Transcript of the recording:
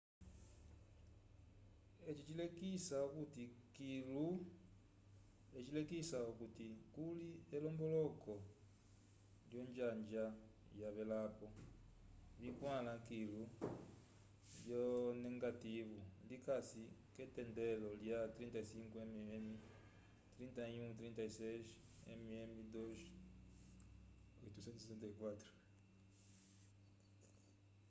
eci cilekisi okuti kuli elomboloko olonjanja vyavelapo vikwãla kilu lyonegativu likasi k’etendelo lya 35mm 3136 mmm2/864